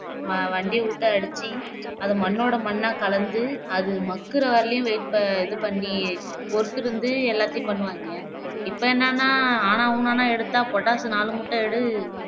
வ வண்டிய விட்டு அடிச்சு அதை மண்ணோட மண்ணா கலந்து அது மக்குற வரையிலும் wait ப இது பண்ணி பொறுத்திருந்து எல்லாத்தையும் பண்ணுவாங்க இப்போ என்னனா ஆனாவூனான்னா எடுத்தா potash நாலு மூட்டை எடு